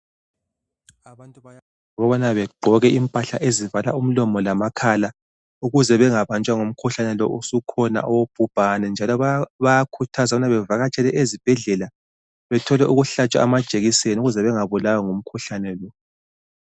Abantu bayakhuthazwa ukubana begqoke impahla ezivala umlomo lamakhala ukuze bengabanjwa ngumkhuhlane lo osukhona wobhubhane njalo bayakhuthazwa ukubana bavakatshele ezibhedlela bethole ukuhlatshwa amajekiseni ukuze bangabulawa ngumkhuhlane lo